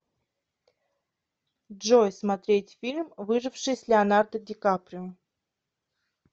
джой смотреть фильм выживший с леонардо ди каприо